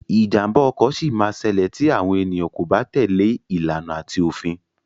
Ìjàmbá ọkọ sì ma ṣẹlẹ ti àwọn ènìyàn kò bá tèlé ìlànà ati òfin.